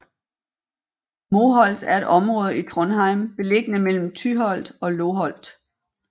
Moholt er et område i Trondheim beliggende mellem Tyholt og Loholt